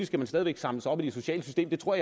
skal man stadig væk samles op i det sociale system det tror